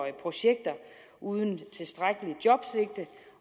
i projekter uden tilstrækkeligt jobsigte